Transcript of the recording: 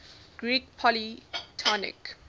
greek polytonic